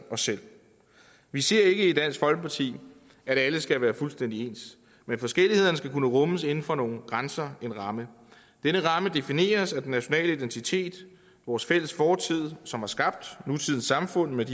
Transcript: os selv vi siger ikke i dansk folkeparti at alle skal være fuldstændig ens men forskellighederne skal kunne rummes inden for nogle grænser en ramme denne ramme defineres af den nationale identitet vores fælles fortid som har skabt nutidens samfund med